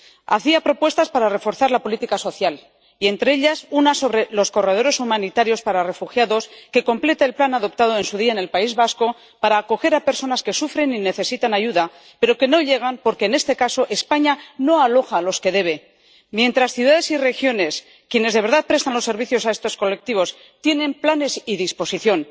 Hacía propuestas para reforzar la política social y, entre ellas, una sobre los corredores humanitarios para refugiados que completa el plan adoptado en su día en el País Vasco para acoger a personas que sufren y necesitan ayuda, pero que no llegan porque, en este caso, España no aloja a los que debe, mientras ciudades y regiones ―quienes de verdad prestan los servicios a estos colectivos― tienen planes y disposición.